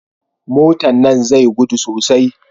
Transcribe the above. Motan nan zai gudu sosai